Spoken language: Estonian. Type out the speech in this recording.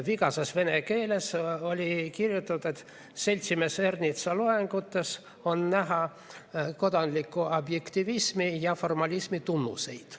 Vigases vene keeles oli kirjutatud, et seltsimees Ernitsa loengutes on näha kodanliku objektivismi ja formalismi tunnuseid.